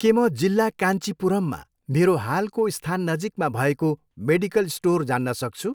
के म जिल्ला काञ्चिपुरममा मेरो हालको स्थान नजिकमा भएको मेडिकल स्टोर जान्न सक्छु?